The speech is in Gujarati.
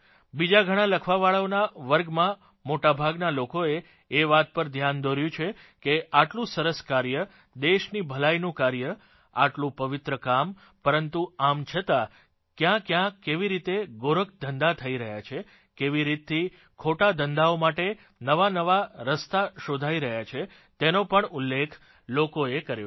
બીજા ઘણાં લખવાવાળાઓના વર્ગમાં મોટોભાગના લોકોએ એ વાત પર ધ્યાન દોર્યું છે કે આટલું સરસ કાર્ય દેશની ભલાઇનું કાર્ય આટલું પવિત્ર કામ પરંતુ આમ છતાં ક્યાંક્યાં કેવી રીતે ગોરખધંધા થઇ રહ્યા છે કેવી રીતથી ખોટાધંધાઓ માટે નવાનવા રસ્તા શોધાઇ રહ્યા છે તેનો પણ ઉલ્લેખ લોકોએ કર્યો છે